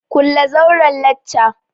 Kulle zauren lacca!